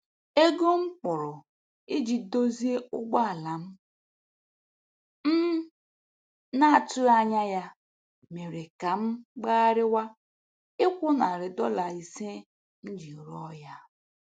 Ego m kwụrụ iji dozie ụgbọala m m na-atụghị anya mere ka m gbagharịwa ịkwụ nari dọla ise m ji rụọ ya.